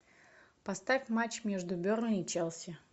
поставь матч между бернли и челси